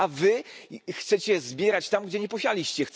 A wy chcecie zbierać tam, gdzie nie posialiście.